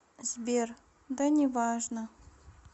сбер да неважно